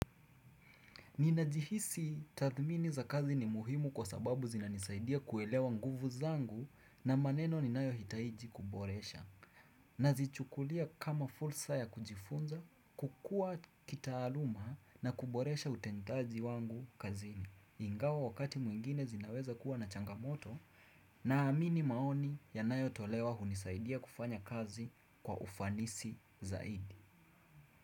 Ninajihisi tathmini za kazi ni muhimu kwa sababu zinanisaidia kuelewa nguvu zangu na maneno ninayohitaji kuboresha. Nazichukulia kama fursa ya kujifunza kukua kitaaluma na kuboresha utendaji wangu kazini. Ingawa wakati mwingine zinaweza kuwa na changamoto naamini maoni yanayotolewa hunisaidia kufanya kazi kwa ufanisi zaidi.